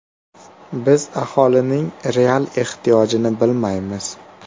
Biz aholining real ehtiyojini bilmaymiz.